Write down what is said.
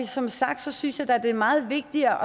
som sagt synes jeg da det er meget vigtigere